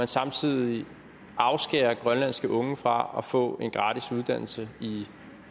samtidig afskærer grønlandske unge fra at få en gratis uddannelse i